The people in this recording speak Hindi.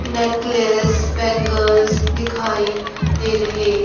नेकलेस बैंगल्स दिखाई दे रहे--